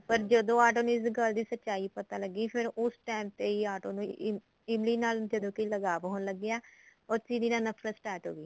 ਪਰ ਜਦੋਂ ਆਟੋ ਨੂੰ ਇਸ ਗਲ ਦੀ ਸਚਾਈ ਪਤਾ ਲੱਗੀ ਫੇਰ ਉਸ time ਤੇ ਹੀ ਆਟੋ ਨੇ ਇਮਲੀ ਨਾਲ ਜਦੋਂ ਕਿ ਲਗਾਵ ਹੋਣ ਲੱਗਿਆ or ਚੀਲੀ ਨਾਲ ਨਫਰਤ start ਹੋ ਗਈ